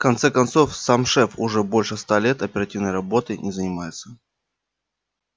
в конце концов сам шеф уже больше ста лет оперативной работой не занимается